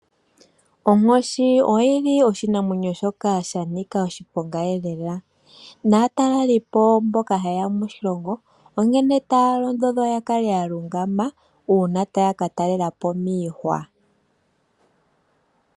Onkoshi oyi li oshinamwenyo shoka sha nika oshiponga lela, naatalelipo mboka ha ye ya moshilongo onkene taya londodhwa ya kale ya lungama uuna taya ka talela po miihwa.